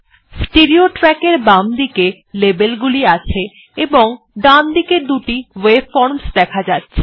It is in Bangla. স্টেরেও ট্র্যাক এর বামদিকে লেবেল গুলি আছে এবং ডানদিকে দুটি ওয়েভফর্মসহ দেখা যাচ্ছে